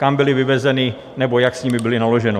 Kam byly vyvezeny nebo jak s nimi bylo naloženo?